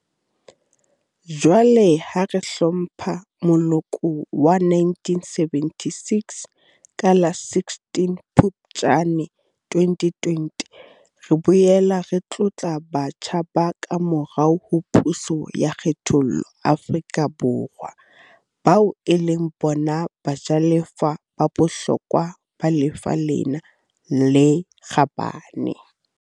Jwale, ha re hlompha moloko wa 1976 ka la 16 Phuptjane 2020, re boela re tlotla batjha ba kamorao ho puso ya kgethollo Afrika Borwa, bao e leng bona bajalefa ba bohlokwa ba lefa lena le kgabane.